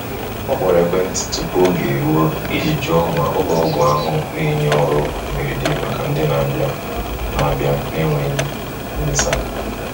Ọ kpọrọ ekwentị tupu oge eruo iji jụọ ma ụlọ ọgwụ ahụ na-enye ọrụ mberede maka ndi n'abia n'abia na-enweghi mgbesa